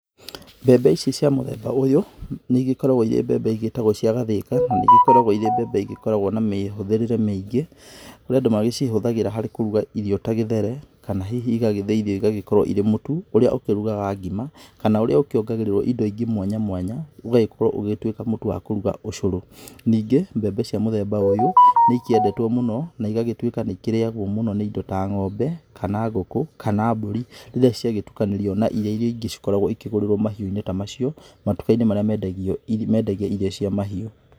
Mbembe ici cia mũthemba ũyũ, nĩ igĩkoragwo ĩrĩ mbembe igĩtagwo cia gathĩka, na nĩ igĩkoragwo ĩrĩ mbembe igĩkoragwo na mĩhũthĩrĩre mĩingĩ, kũrĩ andũ macihũthagĩra kũruga irio ta gĩthere, kana hihi igagĩthĩithio igagĩtuĩka ĩrĩ mũtu ũrĩa ũkĩrugaga ngima kana ũrĩa ũkĩongagĩrĩrio indo ingĩ mwanya mwanya ũgagĩkorwo ũgĩtuika mũtu wa kũruga ũcũrũ, ningĩ mbembe cia mũthemba ũyũ nĩ ciendetwo mũno na ĩgagĩtuika nĩ irĩagwo mũno nĩ ĩndo ta ngombe, kana ngũkũ, kana mbũrĩ rĩrĩa ciagĩtũkanĩrio na ĩrĩa ingĩ cigĩkoragwo ikĩgorĩrwo mahiũ-inĩ tamacio matuka-inĩ marĩa mendagio irio cia mahiũ.